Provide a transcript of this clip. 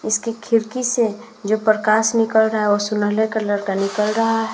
इसकी खिड़की से जो प्रकाश निकल रहा है वो सुनहरे कलर का निकल रहा है।